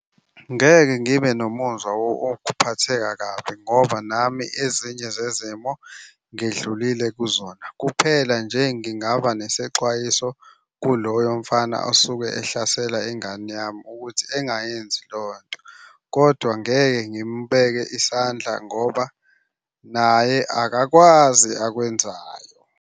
Ngeke ngibe nomuzwa wokuphatheka kabi ngoba nami ezinye zezimo ngidlulile kuzona. Kuphela nje ngingaba nesexwayiso kuloyo mfana osuke ehlasela ingane yami ukuthi engayenzi leyo nto, kodwa ngeke ngimubeke isandla ngoba naye akakwazi akwenzayo.